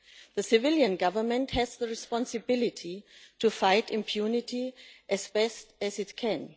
The civilian government has the responsibility to fight impunity as best it can.